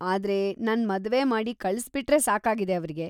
ಆದ್ರೆ ನನ್‌ ಮದ್ವೆ ಮಾಡಿ ಕಳ್ಸ್‌ಬಿಟ್ರೆ ಸಾಕಾಗಿದೆ ಅವ್ರಿಗೆ.